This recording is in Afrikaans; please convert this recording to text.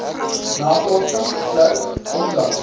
navorsing slegs onlangs